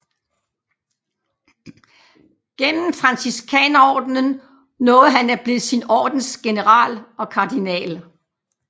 Gennem Franciskanerordenen nåede han at blive sin ordens general og kardinal